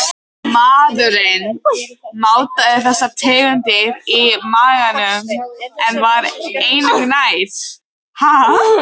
Maðurinn mátaði þessar tegundir í maganum en var engu nær.